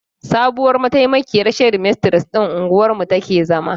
Sabuwar mataimakiyar shedimistres ɗin unguwar mu take zama.